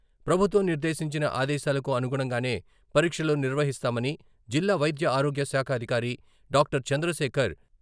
ప్రభుత్వం నిర్దేశించిన ఆదేశాలకు అనుగుణంగానే పరీక్షలు నిర్వహిస్తామని జిల్లా వైద్య ఆరోగ్య శాఖ అధికారి డాక్టర్ చంద్రశేఖర్.